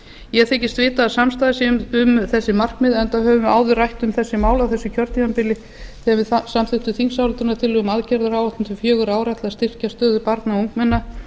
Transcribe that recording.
ég þykist vita að samstaða sé um þessi markmið enda höfum við áður rætt um þessi mál á þessu kjörtímabili þegar við samþykktum þingsályktunartillögu um aðgerðaráætlun til fjögurra ára til að styrkja stöðu barna og ungmenna